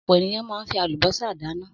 Ọ̀pọ̀ ènìyàn máa ń fi àlùbọ́sà dáná.